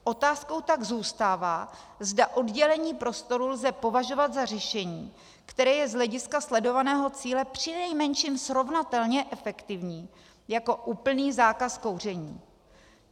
Otázkou tak zůstává, zda oddělení prostoru lze považovat za řešení, které je z hlediska sledovaného cíle přinejmenším srovnatelně efektivní jako úplný zákaz kouření.